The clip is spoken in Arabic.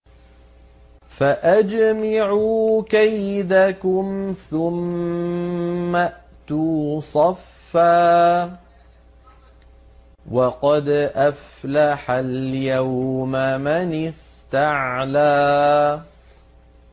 فَأَجْمِعُوا كَيْدَكُمْ ثُمَّ ائْتُوا صَفًّا ۚ وَقَدْ أَفْلَحَ الْيَوْمَ مَنِ اسْتَعْلَىٰ